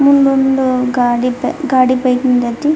ಮುಂದೊಂದು ಗಾಡಿ ಫೆ ಗಾಡಿ ಬೈಕ್ ನಿಂದೈತಿ.